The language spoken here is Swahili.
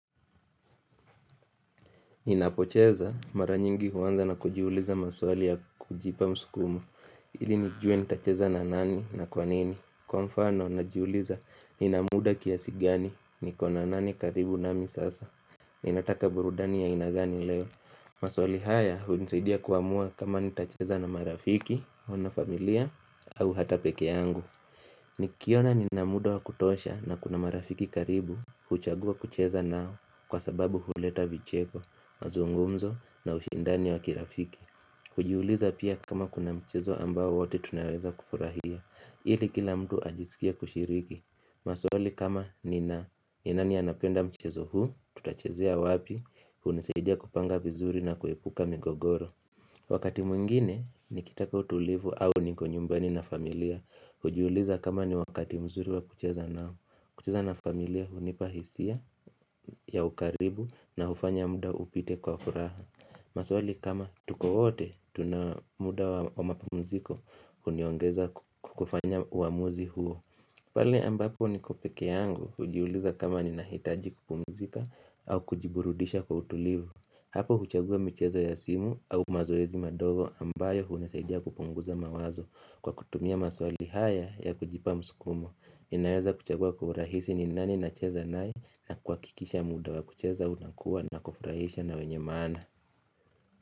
Ninapocheza maranyingi huwanza na kujiuliza maswali ya kujipa msukumo ili nijue nitacheza na nani na kwanini Kwa mfano na jiuliza ninamuda kiasigani ni kona nani karibu nami sasa Ninataka burudani ya ainagani leo maswali haya unisaidia kuamua kama nitacheza na marafiki, wana familia au hata peke yangu Nikiona ninamuda wa kutosha na kuna marafiki karibu huchagua kucheza nao kwa sababu huleta vicheko mazungumzo na ushindani wa kirafiki ujiuliza pia kama kuna mchezo ambao wote tunaweza kufurahia ili kila mtu ajisikie kushiriki maswali kama ni na ni nani anapenda mchezo huu tutachezea wapi unisaidia kupanga vizuri na kuepuka migogoro Wakati mwingine ni kitaka utulivu au niko nyumbani na familia ujiuliza kama ni wakati mzuri wa kucheza nao kucheza na familia hunipahisia ya ukaribu na ufanya muda upite kwa furaha maswali kama tuko wote Tuna muda wa mapumziko Uniongeza kukufanya uamuzi huo ujiuliza pia kama kuna mchezo ambao wote tunaweza kufurahia ili kila mtu ajisikie kushiriki maswali kama ni na ni nani anapenda mchezo huu Tutachezea wapi unisaidia kupanga vizuri na kuepuka migogoro Wakati mwingine ni kitaka utulivu au niko nyumbani na familia kujiuliza kama ni wakati mzuri wa kucheza nao kucheza na familia hunipahisia ya ukaribu na ufanya muda upite kwa furaha maswali kama tuko wote Tuna muda wa mapumziko.